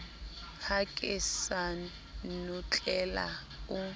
ha ke sa notlela o